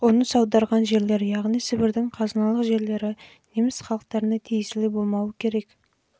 жақсы болғандықтан ал қоныс аударған жерлер яғни сібірдің қазыналық жерлері неміс халықтарына тиесілі болмауы керек